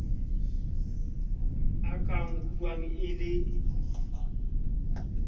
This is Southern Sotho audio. a ka nkuwang e le